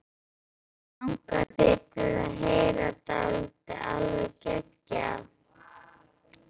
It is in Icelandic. Langar þig til að heyra dálítið alveg geggjað?